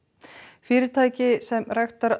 fyrirtæki sem ræktar